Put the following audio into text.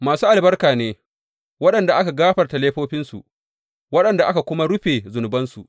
Masu albarka ne waɗanda aka gafarta laifofinsu, waɗanda aka kuma rufe zunubansu.